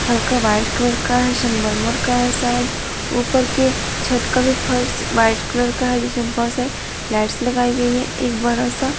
हल्का white colour का है संगमरमर का है शायद ऊपर के छत का भी फर्स वाइट कलर का है जिसमें बहुत सारी लाइट्स लगाई गई है एक बड़ा सा--